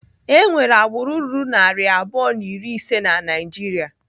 Enwere agbụrụ ruru narị abụọ na iri ise na Naijiria.